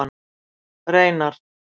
Reynar